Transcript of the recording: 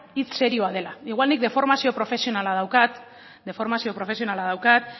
hitz serioa dela igual nik deformazio profesionala daukat deformazio profesionala daukat